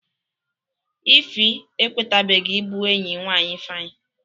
Ify ekwetebeghi ibu enyi nwanyị Ifeanyị